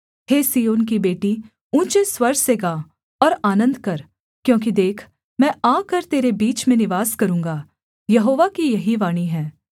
हे सिय्योन की बेटी ऊँचे स्वर से गा और आनन्द कर क्योंकि देख मैं आकर तेरे बीच में निवास करूँगा यहोवा की यही वाणी है